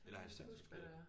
Eller er han statskundskab